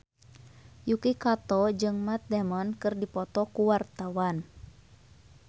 Yuki Kato jeung Matt Damon keur dipoto ku wartawan